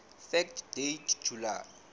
fact date july